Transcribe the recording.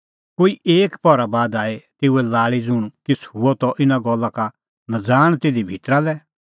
कोई एकी पहरा बाद आई तेऊए लाल़ी ज़ुंण किछ़ हुअ त इना गल्ला का नज़ाण तिधी भितरा लै